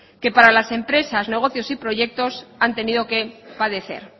que para las empresas negocios y proyectos han tenido que padecer